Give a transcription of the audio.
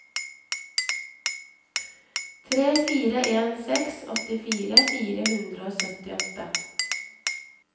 tre fire en seks åttifire fire hundre og syttiåtte